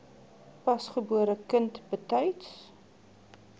pasgebore kind betyds